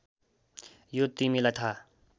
यो तिमीलाई थाहा